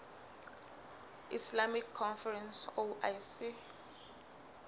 islamic conference oic